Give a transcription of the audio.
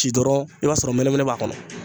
Ci dɔrɔn i b'a sɔrɔ mɛnɛmɛnɛ b'a kɔnɔ.